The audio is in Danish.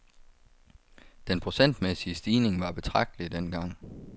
Den procentmæssige stigning var betragtelig dengang.